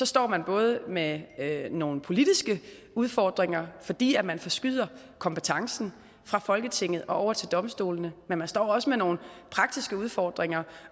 står man både med nogle politiske udfordringer fordi man forskyder kompetencen fra folketinget over til domstolene men man står også med nogle praktiske udfordringer